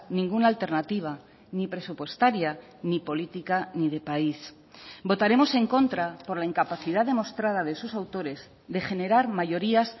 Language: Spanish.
ninguna alternativa ni presupuestaria ni política ni de país votaremos en contra por la incapacidad demostrada de sus autores de generar mayorías